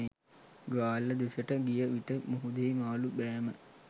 ගාල්ල දෙසට ගිය විට මුහුදෙහි මාළු බෑම